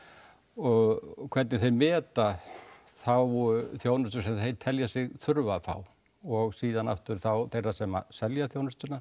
og hvernig þeir meta þá þjónustu sem þeir telja sig þurfa að fá og síðan aftur þeirra sem selja þjónustuna